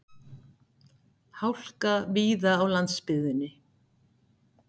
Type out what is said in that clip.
Hálka víða á landsbyggðinni